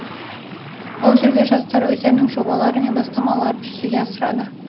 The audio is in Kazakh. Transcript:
ол жерде жастар өздерінің жобалары мен бастамаларын жүзеге асырады